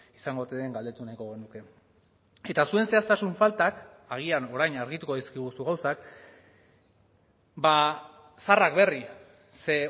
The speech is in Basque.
izango ote den galdetu nahiko genuke eta zuen zehaztasun faltak agian orain argituko dizkiguzu gauzak zaharrak berri ze